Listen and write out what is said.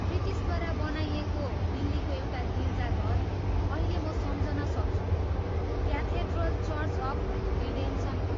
ब्रिटिसद्वारा बनाइएको दिल्लीको एउटा गिर्जाघर, अहिले म सम्झन सक्छु, क्याथेड्रल चर्च अफ रिडेम्सन हो।